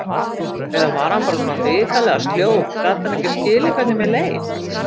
Eða var hann bara svona hrikalega sljór, gat hann ekki skilið hvernig mér leið?